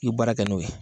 I ye baara kɛ n'o ye